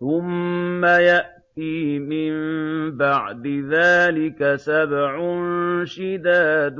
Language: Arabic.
ثُمَّ يَأْتِي مِن بَعْدِ ذَٰلِكَ سَبْعٌ شِدَادٌ